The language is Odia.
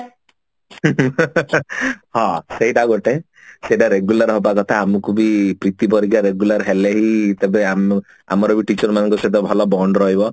ହଁ ସେଇଟା ଗୋଟେ ସେଟା regular ହବା କଥା ଆମକୁ ବି ପ୍ରୀତି ପରିକା regular ହେଲେ ହିଁ ତେବେ ଆମେ ଆମର ବି teacher ମାନଙ୍କ ସହିତ ଭଲ bond ରହିବ